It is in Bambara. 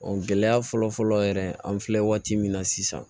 gɛlɛya fɔlɔfɔlɔ yɛrɛ an filɛ waati min na sisan